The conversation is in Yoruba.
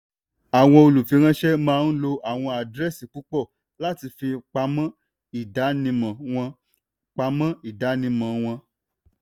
àwọn olùfiránṣẹ́ maa ń lo àwọn àdírẹ́sì púpọ̀ láti fi pamọ́ ìdánimọ̀ wọn. pamọ́ ìdánimọ̀ wọn.